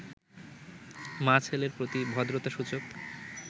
মা ছেলের প্রতি ভদ্রতা-সূচক